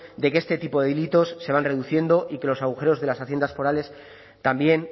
de que este tipo de delitos se van reduciendo y que los agujeros de las haciendas forales también